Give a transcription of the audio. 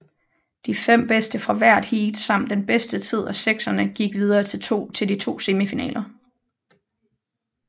De fem bedste fra hvert heat samt den bedste tid af sekserne gik videre til de to semifinaler